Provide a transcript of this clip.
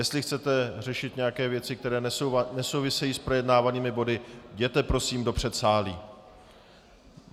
Jestli chcete řešit nějaké věci, které nesouvisejí s projednávanými body, jděte prosím do předsálí.